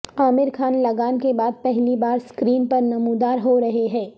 عامر خان لگان کے بعد پہلی بار سکرین پر نمودار ہو رہے ہیں